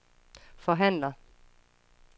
forhandler